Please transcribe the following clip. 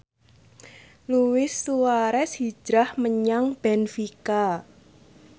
Luis Suarez hijrah menyang benfica